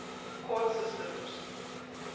court systems